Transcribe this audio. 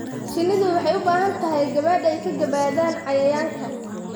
Shinnidu waxay u baahan tahay gabaad ay ka gabadaan cayayaanka.